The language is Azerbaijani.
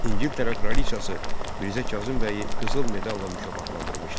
İngiltərə kraliçası Mirzə Kazım bəyi qızıl medalla mükafatlandırmışdı.